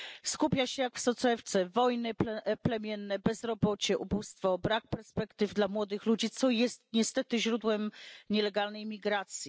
Skupia się jak w soczewce wojny plemienne, bezrobocie, ubóstwo, brak perspektyw dla młodych ludzi, co jest niestety źródłem nielegalnej imigracji.